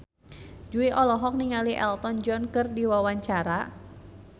Jui olohok ningali Elton John keur diwawancara